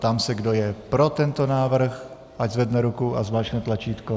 Ptám se, kdo je pro tento návrh, ať zvedne ruku a zmáčkne tlačítko.